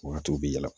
Wagatiw bɛ yɛlɛ